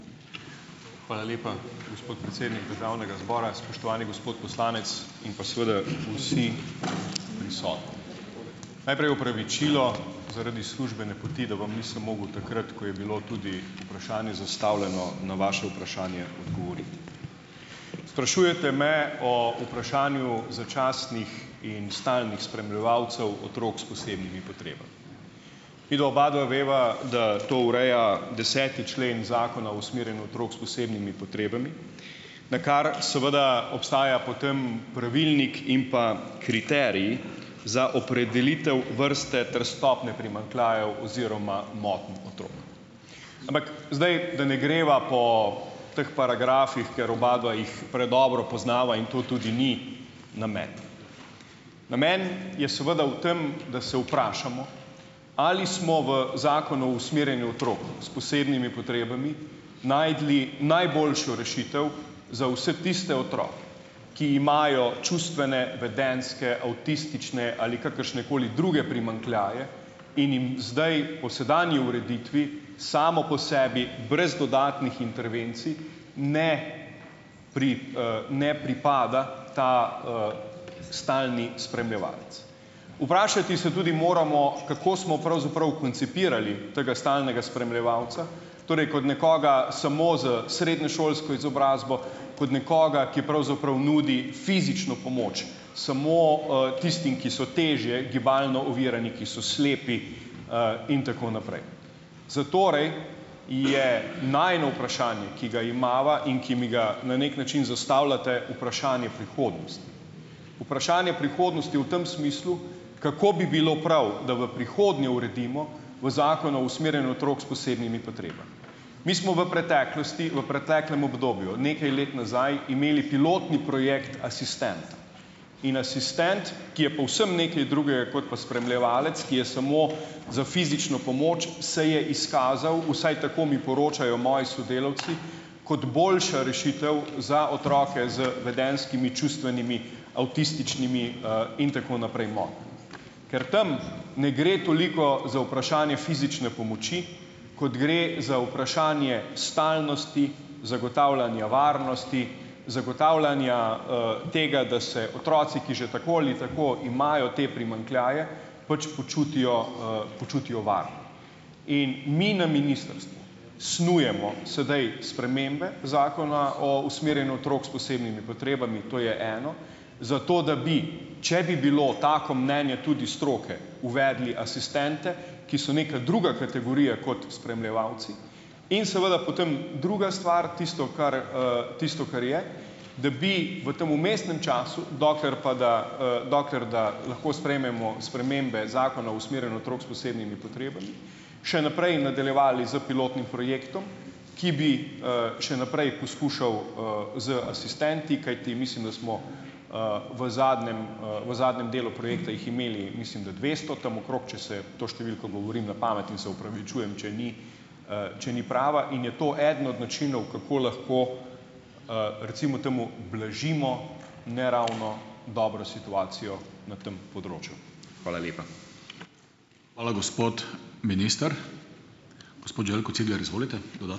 Hvala lepa, gospod predsednik državnega zbora, spoštovani gospod poslanec in pa seveda vsi prisotni! Najprej opravičilo zaradi službene poti, da vam nisem mogel takrat, ko je bilo tudi vprašanje zastavljeno, na vaše vprašanje odgovoriti. Sprašujete me o vprašanju začasnih in stalnih spremljevalcev otrok s posebnimi potrebami. Midva obadva veva, da to ureja deseti člen Zakona o usmerjanju otrok s posebnimi potrebami, na kar seveda obstaja potem pravilnik in pa kriterij za opredelitev vrste ter stopnje primanjkljajev oziroma motenj otrok. Ampak zdaj, da ne greva po teh paragrafih, ker obadva jih predobro poznava in to tudi ni namen. Namen je seveda v tem, da se vprašamo, ali smo v Zakonu usmerjanju otrok s posebnimi potrebami našli najboljšo rešitev, za vse tiste otroke, ki imajo čustvene, vedenjske, avtistične ali kakršne koli druge primanjkljaje in jim zdaj, po sedanji ureditvi, samo po sebi brez dodatnih intervencij ne ne pripada ta, stalni spremljevalec. Vprašati se tudi moramo, kako smo pravzaprav koncipirali tega stalnega spremljevalca. Torej kot nekoga samo z srednješolsko izobrazbo, kot nekoga, ki pravzaprav nudi fizično pomoč, samo, tistim, ki so težje gibalno ovirani, ki so slepi, in tako naprej. Zatorej je najino vprašanje, ki ga imava in ki mi ga na neki način zastavljate, vprašanje prihodnosti. Vprašanje prihodnosti v tem smislu, kako bi bilo prav, da v prihodnje uredimo, v Zakonu o usmerjanju otrok s posebnimi potrebami. Mi smo v preteklosti, v preteklem obdobju, nekaj let nazaj imeli pilotni projekt Asistent. In asistent, ki je povsem nekaj drugega kot pa spremljevalec, ki je samo za fizično pomoč, se je izkazal, vsaj tako mi poročajo moji sodelavci, kot boljša rešitev za otroke z vedenjskimi, čustvenimi, avtističnimi, in tako naprej, motnjami. Ker tam ne gre toliko za vprašanje fizične pomoči, kot gre za vprašanje stalnosti, zagotavljanja varnosti, zagotavljanja, tega, da se otroci, ki že tako ali tako imajo te primanjkljaje, pač počutijo, počutijo varne. In mi na ministrstvu snujemo sedaj spremembe Zakona o usmerjanju otrok s posebnimi potrebami, to je eno. Zato da bi, če bi bilo tako mnenje tudi stroke, uvedli asistente, ki so neka druga kategorija kot spremljevalci. In seveda potem druga stvar, tisto, kar, tisto, kar je, da bi v tem vmesnem času, dokler pa da, dokler da lahko sprejmemo spremembe Zakona o usmerjanju otrok s posebnimi potrebami, še naprej nadaljevali s pilotnim projektom, ki bi, še naprej poskušal, z asistenti, kajti mislim, da smo, v zadnjem, v zadnjem delu projekta jih imeli, mislim, da dvesto, tam okrog, če se, to številko govorim na pamet in se opravičujem, če ni, če ni prava. In je to eden od načinov, kako lahko, recimo temu blažimo ne ravno dobro situacijo na tem področju. Hvala lepa. Hvala, gospod minister. Gospod Željko Cigler, izvolite. ...